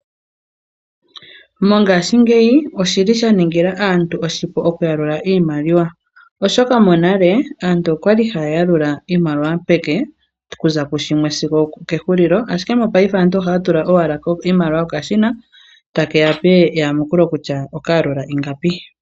Monhashingeyi oshili sha ningila aantu oshipu okuyalula iimaliwa. Oshoka monale aantu okwali haya yalula iimaliwa peke kuza kushimwe sigo okehulilo. Ashike mongashingeyi aantu ohaya tula owala iimaliwa kokashina etake yape eyamukulo kutya oka yalula ingapi.